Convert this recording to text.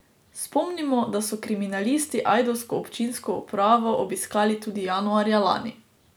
Spomnimo, da so kriminalisti ajdovsko občinsko upravo obiskali tudi januarja lani.